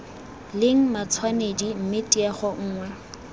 leng matshwanedi mme tiego nngwe